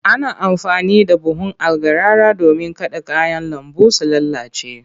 Ana amfani da buhun algarara domin kada kayan lambu su lalace.